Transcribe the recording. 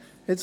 der SiK.